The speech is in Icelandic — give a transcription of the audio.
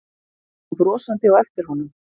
Kom brosandi á eftir honum.